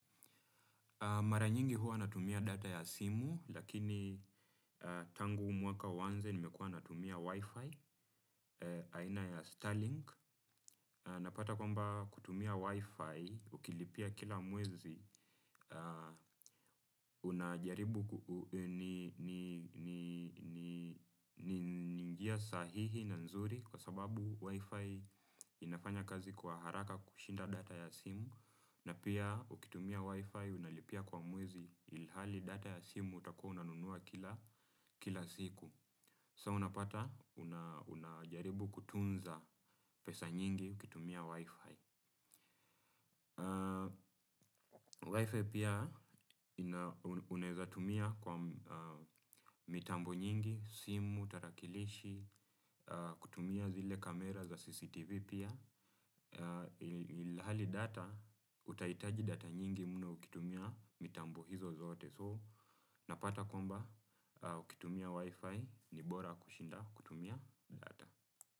Mara nyingi huwa natumia data ya simu, lakini tangu huu mwaka uanze nimekua natumia wifi, aina ya Starlink. Napata kwamba kutumia wifi, ukilipia kila mwezi, unajaribu ni njia sahihi na nzuri kwa sababu wifi inafanya kazi kwa haraka kushinda data ya simu. Na pia ukitumia Wi-Fi unalipia kwa muwezi ilihali data ya simu utakua unanunua kila siku. So, unapata unajaribu kutunza pesa nyingi ukitumia Wi-Fi Wi-Fi pia unazatumia kwa mitambo nyingi, simu, tarakilishi, kutumia zile kamera za CCTV pia. Hali data, utaitaji data nyingi mno ukitumia mitambo hizo zote So, napata kwamba ukitumia wifi ni bora kushinda kutumia data.